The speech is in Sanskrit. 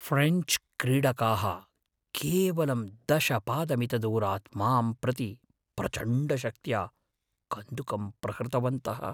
ऴ्रेञ्च् क्रीडकाः केवलं दश पादमितदूरात् मां प्रति प्रचण्डशक्त्या कन्दुकं प्रहृतवन्तः।